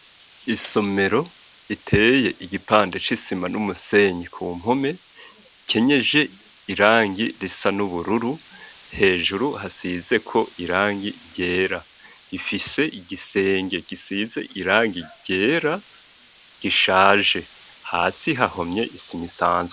Isomero iteye igipande c'isima n'umusenyi ku mpume kenyeje irangi risa n'ubururu hejuru hasize ko irangi byera ifise igisenge gisize irangi gyera gishaje, hasi hahomye isima isanzu.